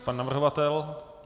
Pan navrhovatel?